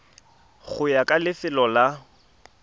go ya ka lefelo la